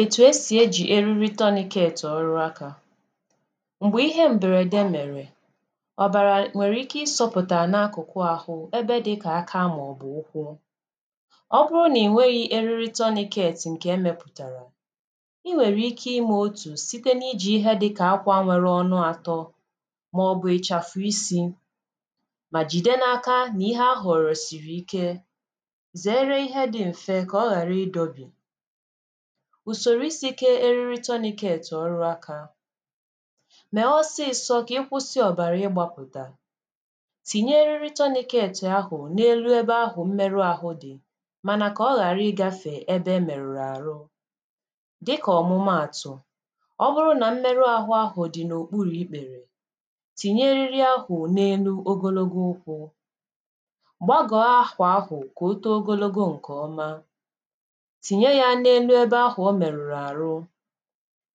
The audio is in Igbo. Etù esì ejì eriri tourniquet ọrụ akȧ. Mgbe ihe mberede mèrè, ọ̀bàrà (uh)nwèrè ike ịsọ̇pụ̀tà n’akụ̀kụ àhụ ebe dịkà aka màọbụ̀ ukwu, ọ bụrụ nà ị nwere eriri tourniquet ǹkè emepụ̀tàrà. Inwèrè ike imė otù a site n’iji ihe dịkà akwa nwere ọnụ àtọ maọ̀bụ̀ ịchàfu isi̇ mà jìde n’aka nà ihe a họ̀rọ̀ sìrì ike, zeere ihe dị mfe ka ọ ghara ịdọbi ùsòrò isi̇ kė eriri tourniquet oru aka, mèe ọsịsọ̇ kà ịkwụsị ọ̀bàrà ịgbȧpụ̀tà, tìnye eriri tourniquet ahụ̀ na-elu ebe ahụ̀ mmerụ ahụ dị̀ mànà kà ọ ghàra igafè ebe e mèrùrù àrụ dịkà ọ̀mụmaàtụ̀, ọ bụrụ nà mmerụ ahụ ahụ dị̀ n’òkpuru̇ ikpèrè, tìnye eriri ahụ̀ n’elu ogologo ụkwụ̇, gbagoo akwa ahụ ka o too ogologo nke ọma, tìnye ya n’elu ebe ahụ̀ ọ merùrù àrụ.